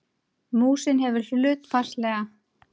Músin hefur hlutfallslega